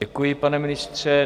Děkuji, pane ministře.